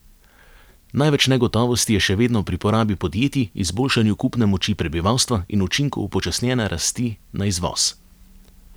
Največ negotovosti je še vedno pri porabi podjetij, izboljšanju kupne moči prebivalstva in učinku upočasnjene rasti na izvoz.